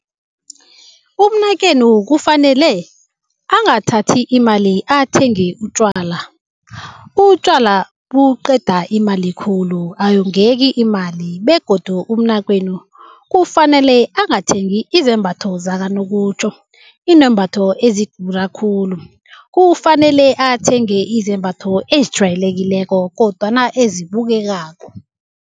Umnakwenu kufanele angathathi imali athenge utjwala. Utjwala buqeda imali khulu, ayongeki imali begodu umnakwenu kufanele angathengi izembatho zakanokutjho, izembatho ezidura khulu. Kufanele athenge izembatho ezijwayelekileko kodwana ezibukekako.